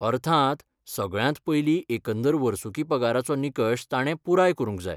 अर्थांत, सगळ्यांत पयलीं एकंदर वर्सुकी पगाराचो निकश ताणे पुराय करूंक जाय.